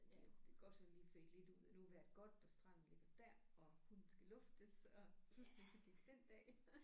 Ja det kan godt sådan lige fade lidt ud at nu er vejret godt og stranden ligger dér og hunden skal luftes og pludselig så gik den dag